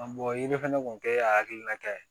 fɛnɛ kun kɛ a hakilinata ye